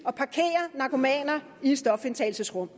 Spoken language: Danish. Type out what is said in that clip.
at parkere narkomaner i stofindtagelsesrum